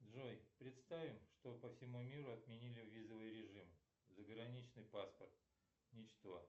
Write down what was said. джой представим что по всему миру отменили визовый режим заграничный паспорт и что